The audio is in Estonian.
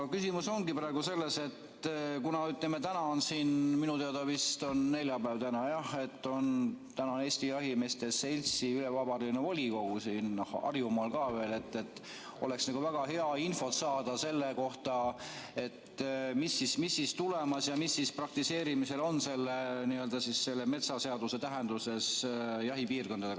Küsimus ongi selles, et kuna täna on – minu teada vist on täna neljapäev, jah – Eesti Jahimeeste Seltsi ülevabariigiline volikogu siin Harjumaal, siis oleks väga hea infot saada selle kohta, mis tulemas ja mis praktiseerimisel on selle metsaseaduse tähenduses jahipiirkondadega.